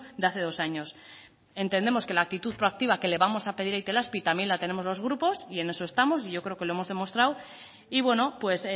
de hace dos años entendemos que la actitud proactiva que le vamos a pedir a itelazpi también la tenemos los grupos y en eso estamos y yo creo que lo hemos demostrado y bueno pues